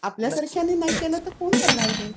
आपल्यासारख्यांनी नाही केलं तर कोण करणार हे?